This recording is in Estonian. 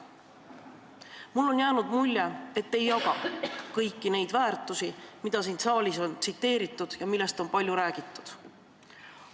Mulle on jäänud mulje, et te ei jaga kõiki neid väärtushinnanguid, mida siin saalis on tsiteeritud ja millest on palju räägitud.